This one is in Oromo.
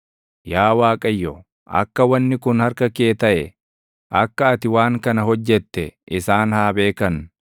Yaa Waaqayyo, akka wanni kun harka kee taʼe, akka ati waan kana hojjette isaan haa beekan.